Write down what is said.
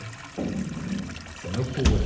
Isso é loucura.